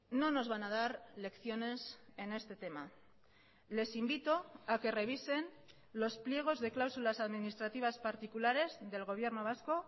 no nos van a dar lecciones en este tema les invito a que revisen los pliegos de cláusulas administrativas particulares del gobierno vasco